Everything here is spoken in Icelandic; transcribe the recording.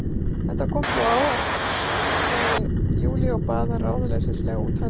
Þetta kom svo á óvart, segir Júlía og baðar ráðleysislega út höndunum.